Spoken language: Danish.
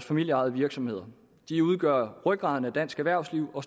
familieejede virksomheder de udgør rygraden i dansk erhvervsliv og